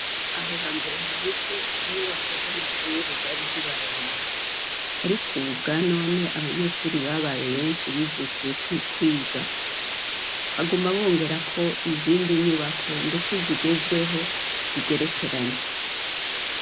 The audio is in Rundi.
Aho ha mbere hahise inyubako z'amashurure zari zibaye baye, ariko, ubu bwa none abanyeshuri babaye benshi bijukiye kwiga baguma bongerako izindi nyubako, ndetse zigezweho zigerekeranye.